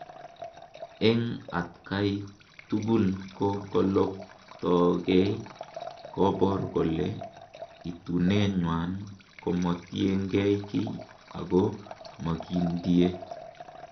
En atkai tukul ko koloktokei, kobor kele itunenywan komotienkei kiy ako mokindie